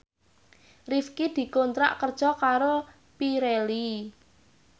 Rifqi dikontrak kerja karo Pirelli